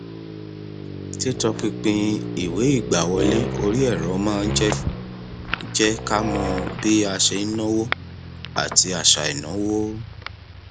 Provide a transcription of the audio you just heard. títọpinpin ìwé ìgbàwọlé orí ẹrọ máa ń jẹ jẹ ká mọ bí a ṣe ń náwó àti àṣà ìnáwó